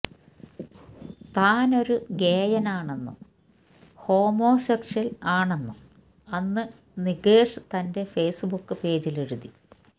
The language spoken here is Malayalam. താനൊരു ഗേയാണെന്നും ഹോമോസെക്ഷ്വല് ആണെന്നും അന്ന് നികേഷ് തന്റെ ഫെയ്സ്ബുക്ക് പേജിലെഴുതി